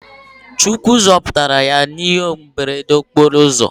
Chukwu zoputara ya na ihe mberede okporo ozo